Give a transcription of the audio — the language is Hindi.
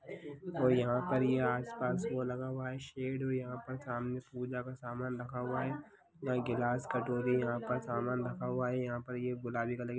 --और यहां पर ये आस पास वो लगा हुआ है सेड और ये पूजा का सामान रखा हुआ है यहाँ गिलास कटोरी यहां पर सामान रखा हुआ है। यहां पर गुलाबी कलर की--